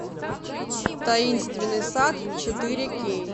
таинственный сад четыре кей